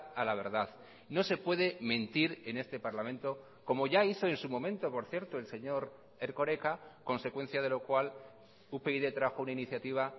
a la verdad no se puede mentir en este parlamento como ya hizo en su momento por cierto el señor erkoreka consecuencia de lo cual upyd trajo una iniciativa